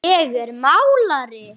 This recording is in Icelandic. Ég er málari.